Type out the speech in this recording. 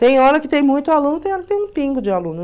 Tem hora que tem muito aluno, tem hora que tem um pingo de aluno.